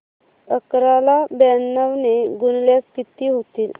अकरा ला ब्याण्णव ने गुणल्यास किती होतील